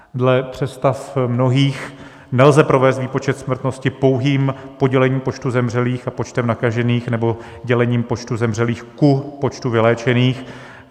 Dle představ mnohých nelze provést výpočet smrtnosti pouhým podělení počtu zemřelých a počtem nakažených nebo dělením počtu zemřelých ku počtu vyléčených.